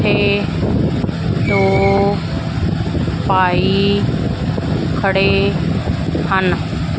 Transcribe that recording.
ਇਹ ਦੋ ਭਾਈ ਖੜੇ ਹਨ।